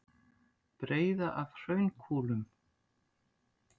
Breiða af hraunkúlum.